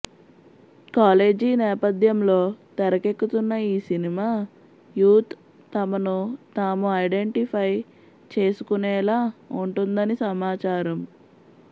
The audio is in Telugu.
కాలేజీ నేపధ్యంలో తెరకెక్కుతున్న ఈ సినిమా యూత్ తమను తాము ఐడెంటిఫై చేసుకునేలా ఉంటుందని సమాచారం